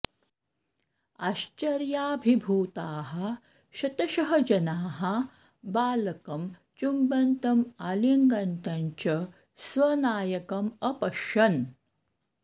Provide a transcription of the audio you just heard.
आश्चर्याभिभूताः शतशः जनाः बालकं चुम्बन्तम् आलिङ्गन्तं च स्वनायकम् अपश्यन्